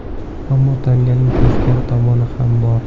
Ammo tanganing teskari tomoni ham bor.